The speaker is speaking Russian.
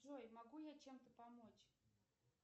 джой могу я чем то помочь